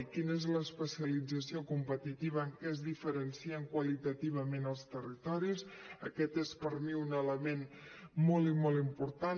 quina és l’especialització competitiva en què es diferencien qualitativament els territoris aquest és per mi un element molt i molt important